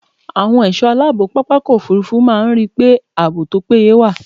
Àwọn ẹ̀ṣọ́ aláàbò pápákọ̀ òfurufú máa ń ríi pé ààbò tó péye wà.